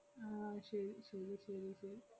ആഹ് ശെരി ശെരി ശെരി ശെ~